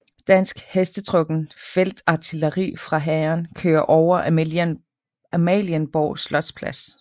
Dansk hestetrukken feltartilleri fra hæren kører over Amalienborg slotsplads